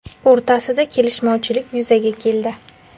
o‘rtasida kelishmovchilik yuzaga keldi.